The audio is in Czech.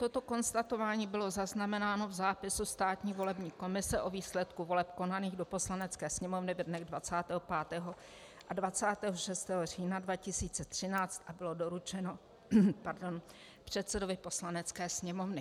Toto konstatování bylo zaznamenáno v zápisu státní volební komise o výsledku voleb konaných do Poslanecké sněmovny ve dnech 25. a 26. října 2013 a bylo doručeno předsedovi Poslanecké sněmovny.